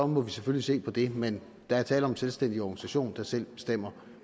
må vi selvfølgelig se på det men der er tale om en selvstændig organisation der selv bestemmer